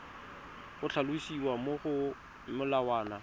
go tlhalosiwa mo go molawana